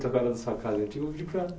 da sua casa antiga. Vou pedir para